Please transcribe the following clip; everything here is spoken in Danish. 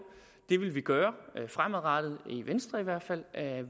det vil vi gøre fremadrettet i venstre i hvert fald